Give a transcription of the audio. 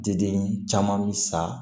Deden caman bɛ sa